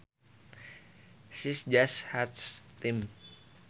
She just hates them